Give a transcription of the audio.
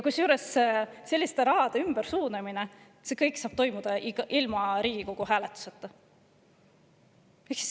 " Kusjuures selline raha ümbersuunamine saab toimuda ilma Riigikogu hääletuseta.